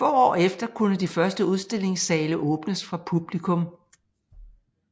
Få år efter kunne de første udstillingssale åbnes for publikum